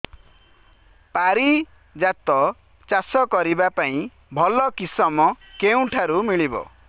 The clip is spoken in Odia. ପାରିଜାତ ଚାଷ କରିବା ପାଇଁ ଭଲ କିଶମ କେଉଁଠାରୁ ମିଳିବ